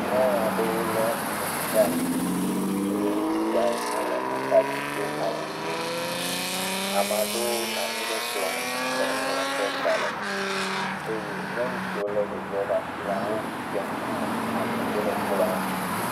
Nyɔnua ɖe le eʋu ɖe asi eye ŋutsu ɖe le axa dzi do awu ɣi. Ame aɖewo nɔ anyi ɖe kplɔ nu le nuŋlɔm ɖe gbalẽ me eye nyɔnu siwo le ɖevi ɖe asi la wodze ŋkume ame siwo le kplɔa nu.